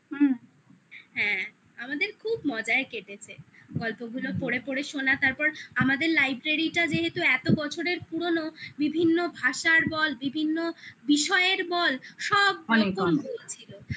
হ্যাঁ আমাদের খুব মজায় কেটেছে গল্পগুলো পড়ে পড়ে শোনা তারপর আমাদের library টা যেহেতু এত বছরের পুরনো বিভিন্ন ভাষার বল বিভিন্ন বিষয়ের বল সব রকমের বই ছিল